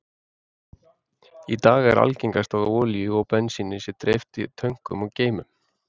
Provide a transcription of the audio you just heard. Í dag er algengast er að olíu og bensíni sé dreift í tönkum eða geymum.